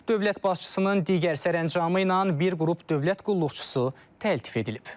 Dövlət başçısının digər sərəncamı ilə bir qrup dövlət qulluqçusu təltif edilib.